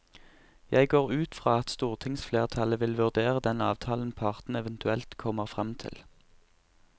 Jeg går ut fra at stortingsflertallet vil vurdere den avtalen partene eventuelt kommer frem til.